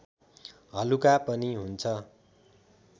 हलुका पनि हुन्छ